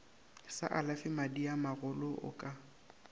sa alafe madiamagolo o ka